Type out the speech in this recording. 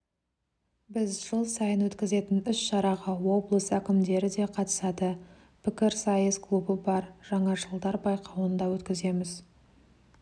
біз жыл сайын өткізетін іс-шараға облыс әкімдері де қатысады пкірісайыс клубы бар жаңашылдар байқауын да өткіземіз